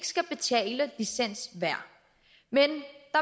skal betale licens men